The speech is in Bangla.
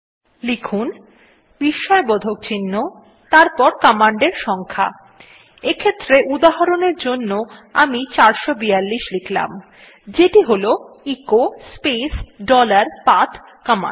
লিখুন বিস্ময়বোধক চিহ্ন তারপর কমান্ডের সংখ্যা এক্ষেত্রে উদাহরণ এর জন্য আমি 442 লিখলাম যেটি হল echo space dollar path command